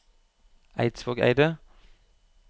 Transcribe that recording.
Eidvågeidet